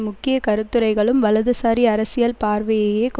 முக்கிய கருத்துரைகளும் வலதுசாரி அரசியல் பார்வையையே கொ